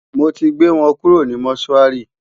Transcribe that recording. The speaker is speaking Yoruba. mọ tí gbé wọn kúrò ní motuari